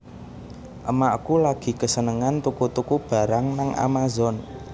Emakku lagi kesenengen tuku tuku barang nang Amazon